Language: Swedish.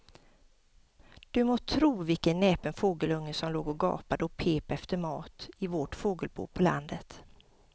Du må tro vilken näpen fågelunge som låg och gapade och pep efter mat i vårt fågelbo på landet.